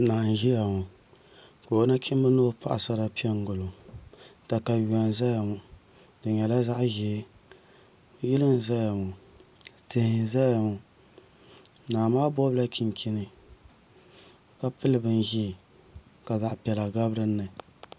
Naa n ʒɛya ŋo ka o nachimbi ni o paɣasara piɛ n gilo katawiya n ʒɛya ŋo di nyɛla zaɣ ʒiɛ yili n ʒɛya ŋo tihi n ʒɛya ŋo naa maa gobila chinchini ka pili bin ʒiɛ ka zaɣ piɛla gabi dinni